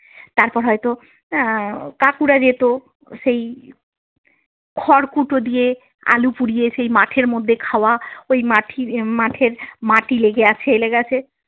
তারপর হয়তো আহ কাকুরা যেত সেই খড়কুটো দিয়ে আলু পুড়িয়ে সেই মাঠের মধ্যে খাওয়া ওই মাঠের মাঠের মাটি লেগে আছে এই লেগে আছে।